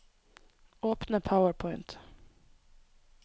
Åpne PowerPoint